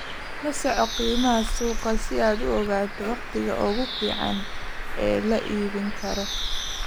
La soco qiimaha suuqa si aad u ogaato wakhtiga ugu fiican ee la iibin karo.